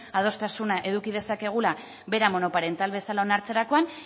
adostasuna izan dezakegula bera monoparental bezala onartzerakoan